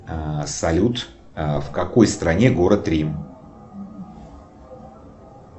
салют в какой стране город рим